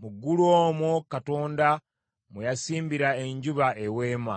Mu ggulu omwo Katonda mwe yasimbira enjuba eweema.